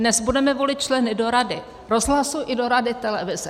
Dnes budeme volit členy do rady rozhlasu i do rady televize.